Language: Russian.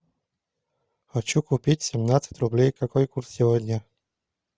хочу купить семнадцать рублей какой курс сегодня